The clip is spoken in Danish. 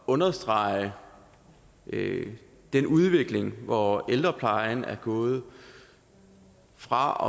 understrege den udvikling hvor ældreplejen er gået fra